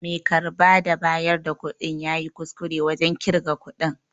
Mai karba da bayar da kuɗin yayi kuskure wajen ƙirga kuɗin.